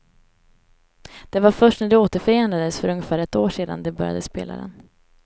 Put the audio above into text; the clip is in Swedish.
Det var först när de återförenades för ungefär ett år sedan de började spela den.